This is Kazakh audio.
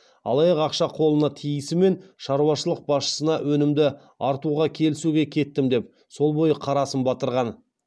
алаяқ ақша қолына тиісімен шаруашылық басшысынан өнімді артуға келісуге кеттім деп сол бойы қарасын батырған